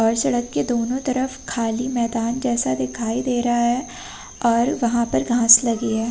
और सड़क के दोनों तरफ खाली मैदान जैसा दिखाई दे रहा है और वहां पर घास लगी है।